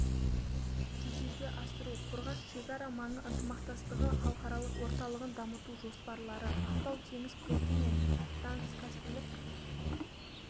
жүзеге асыру қорғас шекара маңы ынтымақтастығы халықаралық орталығын дамыту жоспарлары ақтау теңіз порты мен транскаспийлік